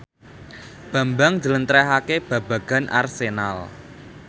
Bambang njlentrehake babagan Arsenal